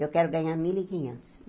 Eu quero ganhar mil e quinhentos.